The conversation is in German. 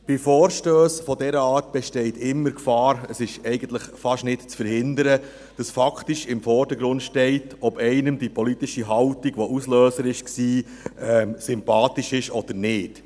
Bei Vorstössen dieser Art besteht immer die Gefahr – eigentlich ist es fast nicht zu verhindern –, dass faktisch im Vordergrund steht, ob einem die politische Haltung, die Auslöser war, sympathisch ist oder nicht.